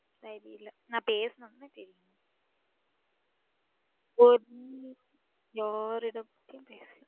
இல்ல நா பேசுனதனா தெரியும். ஒன்னு யாரு இடத்தையும் பேசல.